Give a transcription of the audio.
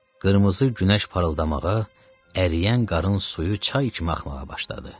Qırmızı günəş parıldamağa, əriyən qarın suyu çay kimi axmağa başladı.